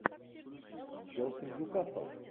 челси ньюкасл